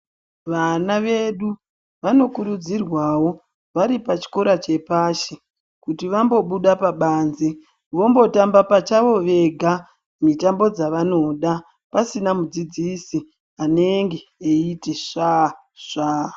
Vana vedu vanokurudzirwawo varipachikoro chepashi kuti vambobuda pabanze vombotamba pachavo vega mitambo dzavanoda pasina mudzidzisi anenge eiti svasva.